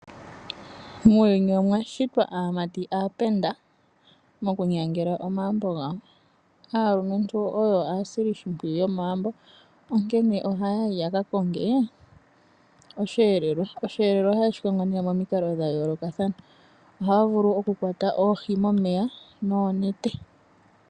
Muuyuni omwa shitwa aamati aapenda moku nyangela omahumbo gawo. Aalumentu oyo aasili shimpwiyu yomagumbo onkene ohaayi yaka konge osheelelwa. Osheelelwa ohaye shikongo nee momikalo dha yoolokathana ohaa vulu oku kwata oohi momeya noonete.